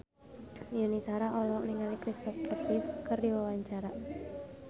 Yuni Shara olohok ningali Christopher Reeve keur diwawancara